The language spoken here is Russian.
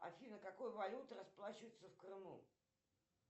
афина какой валютой расплачиваются в крыму